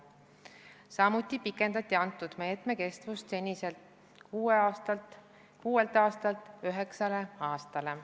Samuti pikendati meetme kestust seniselt kuuelt aastalt üheksale aastale.